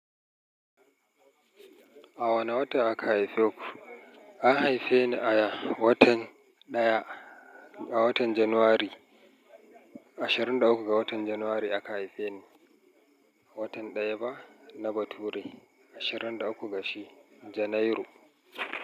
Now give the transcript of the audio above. A wane wata aka haife ku? An haife ni a watan ɗaya, a watan Janairu, ashirin da uku ga watan Janairu aka haife ni. A watan ɗaya ba na bature, ashirin da uku ga shi Janairu.